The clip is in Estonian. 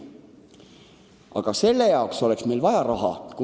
Aga selle jaoks oleks meil vaja raha.